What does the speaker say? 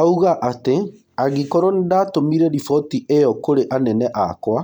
Auga atĩ, angĩkorwo nĩndatũmire riboti ĩo kũrĩ anene akwa,